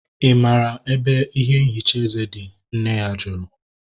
I maara ebe ihe nhicha eze dị? Nne ya jụrụ